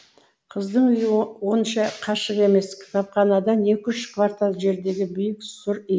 қыздың үйі онша қашық емес кітапханадан екі үш квартал жердегі биік сұр үй